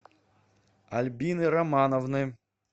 альбины романовны